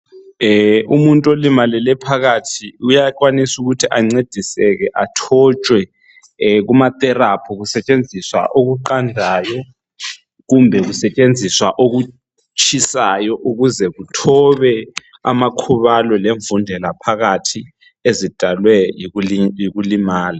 Umuntu olimalele phakathi uyakwanisa ancediseke athotshwe kumatherapy kusetshenziswa okuqandayo kumbe kusetshenziswa okutshisayo ukuze kuthobe amakhubalo lemvundela phakathi ezidalwe yikulimala.